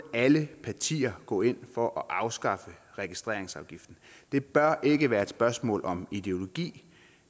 alle partier gå ind for at afskaffe registreringsafgiften det bør ikke være et spørgsmål om ideologi